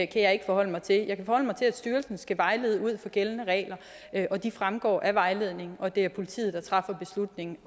kan jeg ikke forholde mig til jeg kan forholde mig til at styrelsen skal vejlede ud fra gældende regler og de fremgår af vejledningen og det er politiet der træffer beslutning